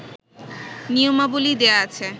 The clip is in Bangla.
নিয়মাবলী দেয়া আছে